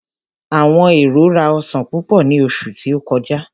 Àwọn èrò rá ọsan púpò ní oṣù tí ó kọjá.